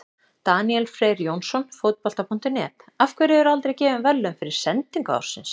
Daníel Freyr Jónsson, Fótbolta.net: Af hverju eru aldrei gefin verðlaun fyrir sendingu ársins?